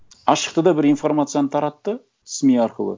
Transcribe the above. а шықты да бір информацияны таратты сми арқылы